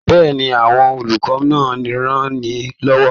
Bẹ́ẹ̀ni, àwọn olùkọ́ náà ranni lọ́wọ́.